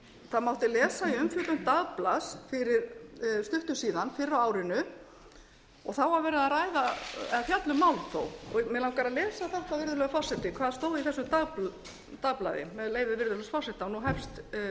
og það mátti lesa í umfjöllun dagblaðs fyrir stuttu síðan fyrr á árinu og þá var verið að fjalla um málþóf mig langar að lesa þetta virðulegur forseti hvað stóð í þessu dagblaði með leyfi virðulegs forseta nú